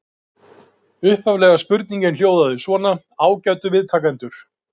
Upphaflega spurningin hljóðaði svona: Ágætu viðtakendur.